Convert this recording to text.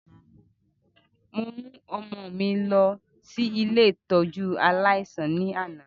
Mo mu ọmọ mi lọ si ile ìtójú aláísàn ni ana.